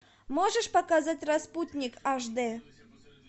можешь показать распутник аш д